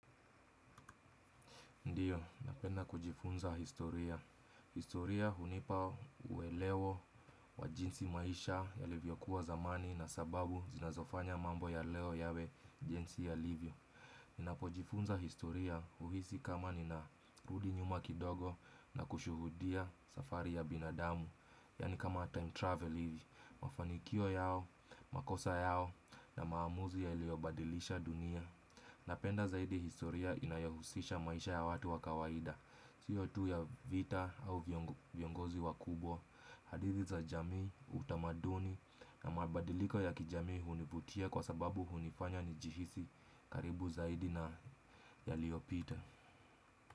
Ndiyo, napenda kujifunza historia. Historia hunipa uelewo wa jinsi maisha yalivyokuwa zamani na sababu zinazofanya mambo ya leo yawe jinsi yalivyo. Ninapojifunza historia uhisi kama ninarudi nyuma kidogo na kushuhudia safari ya binadamu. Yaani kama time travel hivi, mafanikio yao, makosa yao na maamuzi yaliyobadilisha dunia. Napenda zaidi historia inayohusisha maisha ya watu wa kawaida. Siyo tu ya vita au viongozi wakubwa. Hadithi za jamii utamaduni na mabadiliko ya kijamii hunivutia kwa sababu hunifanya nijihisi karibu zaidi na yaliyopita.